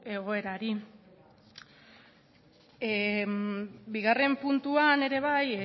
egoerari bigarren puntuan ere bai